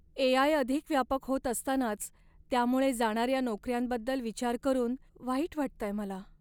ए. I. अधिक व्यापक होत असतानाच त्यामुळे जाणाऱ्या नोकऱ्यांबद्दल विचार करून वाईट वाटतंय मला.